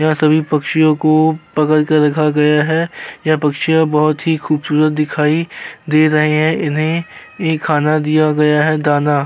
यहाँ सभी पक्षियों को पकड़ कर रखा गया है। यह पक्षियां बहोत ही खूबसूरत दिखाई दे रहे हैं। इन्हैं ये खाना दिया गया है दाना।